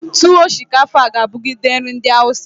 Tuwo shinkafa ga abugide nri ndi awusa.